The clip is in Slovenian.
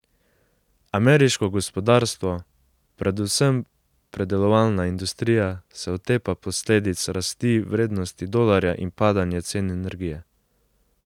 Ameriško gospodarstvo, predvsem predelovalna industrija, se otepa posledic rasti vrednosti dolarja in padanja cen energije.